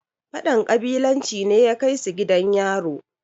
fadan ƙabilanci ne ya Kai su gidan yaro